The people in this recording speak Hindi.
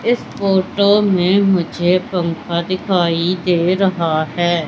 इस फोटो में मुझे पंखा दिखाई दे रहा हैं।